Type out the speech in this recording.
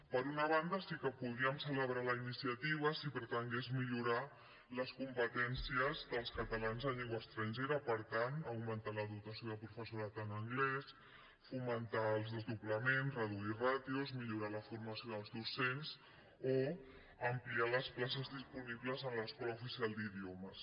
per una banda sí que podríem celebrar la iniciativa si pretengués millorar les competències dels catalans en llengua estrangera per tant augmentar la dotació de professorat en anglès fomentar els desdoblaments reduir ràtios millorar la formació dels docents o ampliar les places disponibles en l’escola oficial d’idiomes